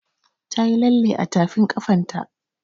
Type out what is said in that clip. Ta yi lalle a tafin ƙafan ta